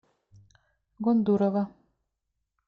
гондурова